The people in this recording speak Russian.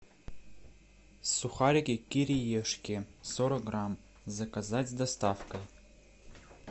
сухарики кириешки сорок грамм заказать с доставкой